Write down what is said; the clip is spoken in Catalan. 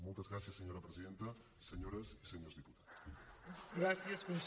moltes gràcies senyora presidenta senyores i senyors diputats